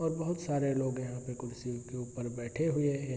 और बहुत सारे लोग यहाँ पे कुर्सी के ऊपर बैठे हुए हैं।